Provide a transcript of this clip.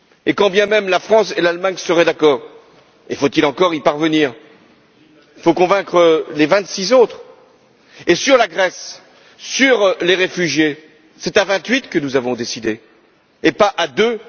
Quand bien même la France et l'Allemagne seraient d'accord faut il encore y parvenir il faudrait encore convaincre les vingt six autres. Sur la Grèce, sur les réfugiés, c'est à vingt huit que nous avons décidé et pas à deux.